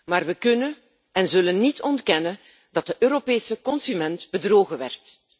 Maar we kunnen en zullen niet ontkennen dat de Europese consument bedrogen werd.